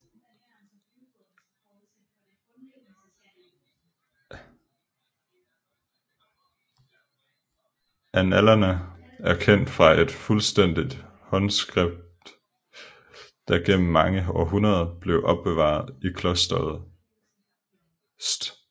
Annalerne er kendt fra et fuldstændigt håndskript der igennem mange århundreder blev opbevaret i klosteret St